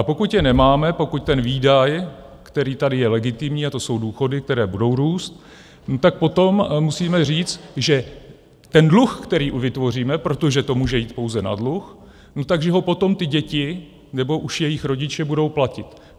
A pokud je nemáme, pokud ten výdaj, který tady je legitimní, a to jsou důchody, které budou růst, tak potom musíme říct, že ten dluh, který vytvoříme, protože to může jít pouze na dluh, tak že ho potom ty děti nebo už jejich rodiče budou platit.